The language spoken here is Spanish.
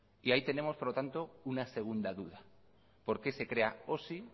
y ahí tenemos por lo tanto una segunda duda por qué se crea